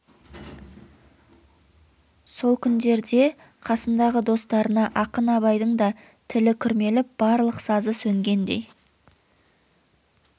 сол күндерде қасындағы достарына ақын абайдың да тілі күрмеліп барлық сазы сөнгендей